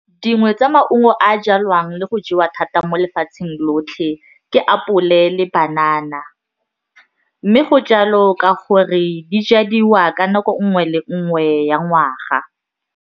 Dingwe tsa maungo a jalwang le go jewa thata mo lefatsheng lotlhe ke apole le banana mme go jalo ka gore di jadiwa ka nako nngwe le nngwe ya ngwaga.